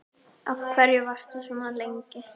Af hverju varstu svona lengi?